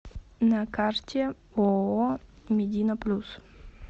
на карте ооо медина плюс